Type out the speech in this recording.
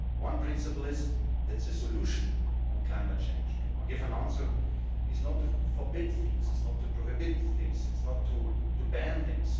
One principle is that the solution on climate change, to give an answer is not to forbid things, is not to prohibit things, is not to ban things.